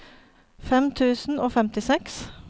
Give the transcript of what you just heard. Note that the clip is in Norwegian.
fem tusen og femtiseks